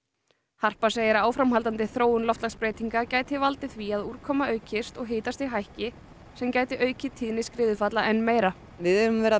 harpa segir að áframhaldandi þróun loftslagsbreytinga gæti valdið því að úrkoma aukist og hitastig hækki sem gæti aukið tíðni skriðufalla enn meira við höfum verið að